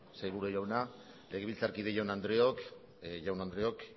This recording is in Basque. jauna legebiltzarkide jaun andreok